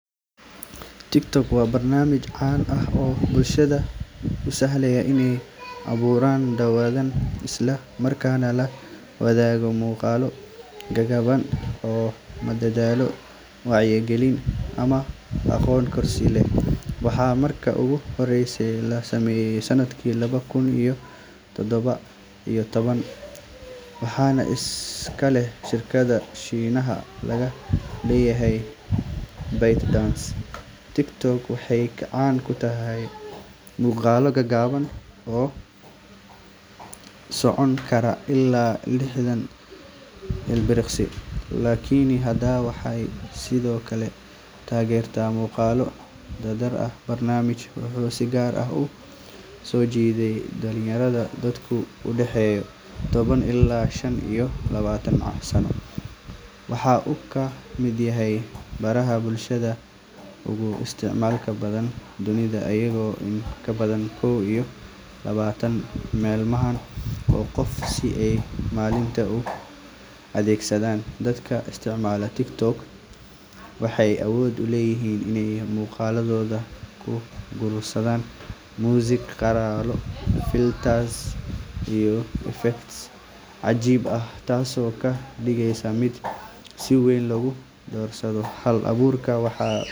waxa uu ka duwan yahay baraha kale ee bulshada, sababtoo ah waxa uu si gaar ah diiradda u saaraa muuqaallo gaagaaban oo si degdeg ah u faafa, iyadoo uu isticmaalayo casri ah oo si weyn u barta danaha qofka, taasoo keenta in dadka isticmaala ay si fudud u helaan waxyaabo xiiso leh oo ay jecel yihiin, iyadoo sidoo kale si sahlan loogu dhiirrigeliyo abuurista muuqaallo ay dadka kale la wadaagi karaan, waxa uu kaloo leeyahay saameyn bulsheed oo aad u ballaaran, gaar ahaan dhalinyarada, sababtoo ah wuxuu siinayaa qof walba fursad uu ku caan baxo xitaa haddii uusan horey u lahayn taageerayaal badan, taasoo ka dhigtay meel furan oo xor ah oo qof walba uu muujin karo.